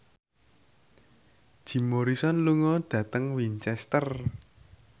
Jim Morrison lunga dhateng Winchester